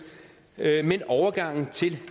men overgangen til